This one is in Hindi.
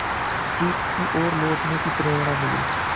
सीख की ओर लौटने की प्रेरणा मिली